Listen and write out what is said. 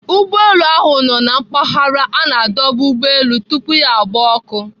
Ụgbọelu ahụ nọ na mpaghara a na-adọba ụgbọelu tupu ya gbaa ọkụ.